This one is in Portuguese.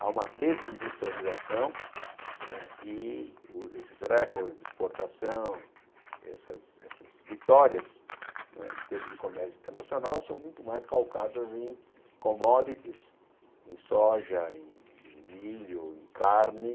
Há uma desindustrialização né e esses recordes de exportação, essas essas vitórias em termos de comércio internacional são muito mais calcadas em commodities, em soja, em em milho, em carne.